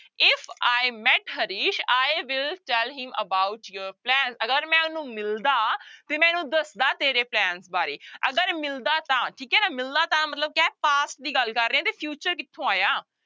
If i met Harish i will tell him about your plan ਅਗਰ ਮੈਂ ਉਹਨੂੰ ਮਿਲਦਾ ਤੇ ਮੈਂ ਉਹਨੂੂੰ ਦੱਸਦਾ ਤੇਰੇ plan ਬਾਰੇ ਅਗਰ ਮਿਲਦਾ ਤਾਂ ਠੀਕ ਹੈ ਨਾ ਮਿਲਦਾ ਤਾਂ ਮਤਲਬ ਕਿਆ ਹੈ past ਦੀ ਗੱਲ ਕਰ ਰਹੇ ਆਂ ਤੇ future ਕਿੱਥੋਂ ਆਇਆ।